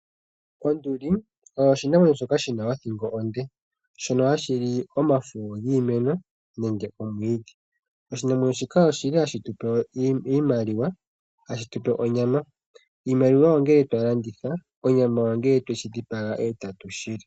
Onduli oyo oshinamwenyo shoka shina othingo onde , shono hashi li omafo giimeno nenge omwiidhi. Oshinamwenyo shika oshili hashi tupe iimaliwa nonyama. Iimaliwa ongele twa landitha omanga onyama ongele twa dhipaga etatu li.